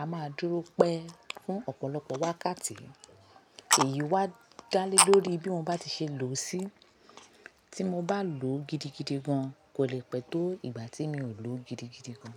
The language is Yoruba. A máa dúró pẹ́ fún ọ̀pọ̀lọpọ̀ wákàtí èyí wá dálé lórí bí mo bá ti ṣe lò ó sí. Tí mo bá lò ó gidigidi gan, kò le pẹ̀ tó ìgbà tí mi ò lò ó gidigidi gan.